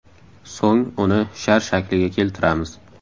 So‘ng uni shar shakliga keltiramiz.